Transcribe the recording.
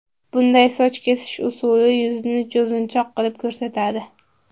Bunday soch kesish usuli yuzni cho‘zinchoq qilib ko‘rsatadi.